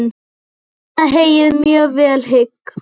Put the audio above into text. Mæna heyið mjög vel hygg.